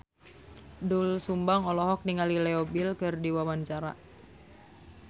Doel Sumbang olohok ningali Leo Bill keur diwawancara